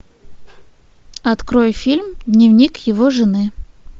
открой фильм дневник его жены